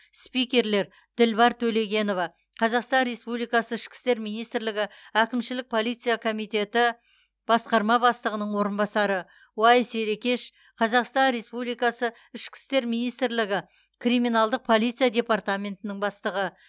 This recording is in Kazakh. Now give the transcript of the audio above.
спикерлер дилбар төлегенова қазақстан республикасы ішкі істер министрлігі әкімшілік полиция комитеті басқарма бастығының орынбасары уайс ерекеш қазақстан республикасы ішкі істер министрлігі криминалдық полиция департаментінің бастығы